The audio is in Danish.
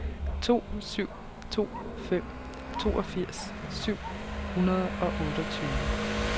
to syv to fem toogfirs syv hundrede og otteogtyve